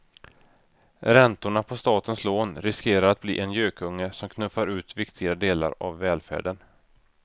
Räntorna på statens lån riskerar att bli en gökunge som knuffar ut viktiga delar av välfärden.